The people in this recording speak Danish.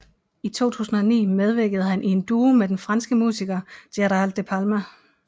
I 2009 medvirkede han i en duo med den franske musiker Gérald De Palmas